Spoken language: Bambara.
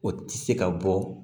O tɛ se ka bɔ